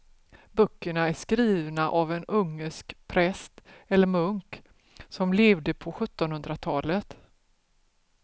Böckerna är skrivna av en ungersk präst eller munk som levde på sjuttonhundratalet.